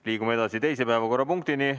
Liigume edasi teise päevakorrapunkti juurde.